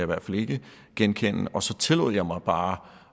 hvert fald ikke genkende og så tillod jeg mig bare